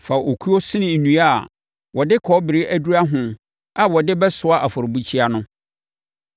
Fa okuo sene nnua a wɔde kɔbere adura ho a wɔde bɛsoa afɔrebukyia no.